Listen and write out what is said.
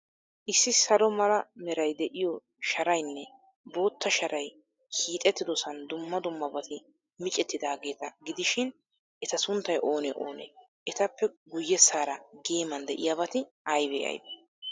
Issi salo mala meray de'iyo sharaynne bootta sharay hixeetidoosan dumma dummabati miccettidaageeta gidishin, eta sunttay oonee oonee? Etappe guyyessaara geeman de'iyabati aybee aybee?